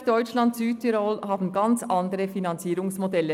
Österreich, Deutschland und Südtirol haben ganz andere Finanzierungsmodelle.